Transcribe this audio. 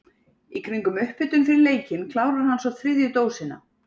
Í kringum upphitun fyrir leikinn klárar hann svo þriðju dósina.